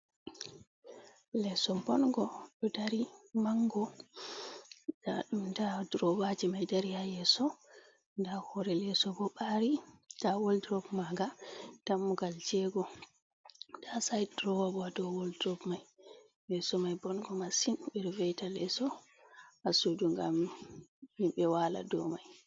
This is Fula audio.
Leeso bongo ɗo dari mango, ndaɗum nda duruwaji mai ɗo dari ha yeso, nda hore leso bo ɓari, nda woldurob maga dammugal jego, nda said durowabo hadow waldrop mai, leso mai bongo masin ɓeɗo veita leso hasudu ngam himɓe wala do mai.